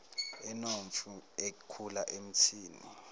inomfi ekhula emthini